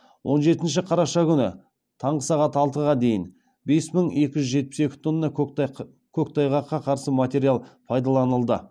он жетінші қараша күнгі таңғы сағат алтыға дейін бес мың екі жүз жетпіс екі тонна көктайғаққа қарсы материал пайдаланылды